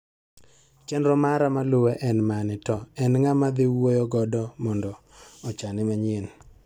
Chenro mara maluwe en mane to en ng'a ma adhi wuoyo godo mondo ochane manyien.